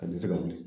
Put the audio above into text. A tɛ se ka wuli